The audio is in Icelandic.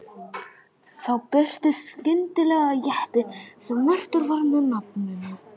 Þá birtist skyndilega jeppi sem merktur var með nafninu